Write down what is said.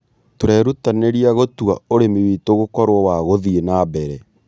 Tũrerutanĩria gũtua ũrĩmi witũ gũkorwo wa gũthiĩ na mbere